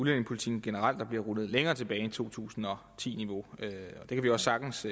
udlændingepolitikken generelt der bliver rullet længere tilbage end til to tusind og ti niveau det kan vi også sagtens